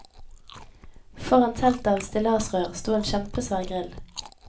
Foran teltet av stillasrør sto en kjempesvær grill.